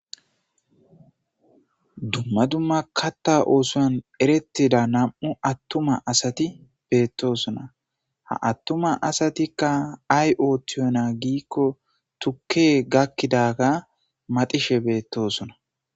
dumma dumma katta oosoan erettida nam7u attuma asati beettosona ha attuma asatikka ay ootiyonaa giikko tukke gakkidaga madishe beettosona